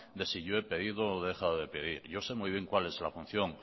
de si yo he pedido o he dejado de pedir yo sé muy bien cuál es la función